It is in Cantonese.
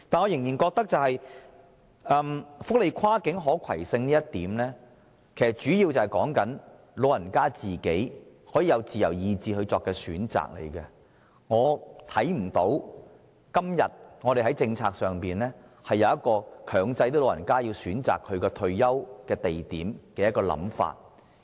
然而，我始終認為，福利安排的跨境可攜性，主要是指長者可按其自由意志作出選擇，所以我看不到今天在政策上，有任何強制長者選擇退休地點的空間。